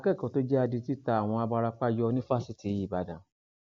akẹkọọ tó jẹ adití ta àwọn abarapá yọ ní fásitì ìbàdàn